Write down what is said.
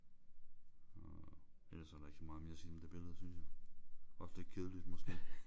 Og ellers er der ikke så meget mere at sige om det billede synes jeg. Også lidt kedeligt måske